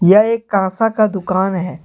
यह एक कांसा का दुकान है।